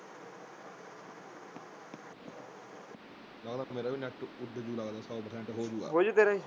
ਲੱਗਦਾ ਮੇਰਾ ਵੀ ਨੈੱਟ ਉੱਡ ਜੂ ਲੱਗਦਾ ਸੌ ਪ੍ਰਸੈਂਟ ਹੋ ਜੂਓ ।